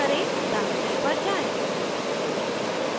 terminal पर जाएँ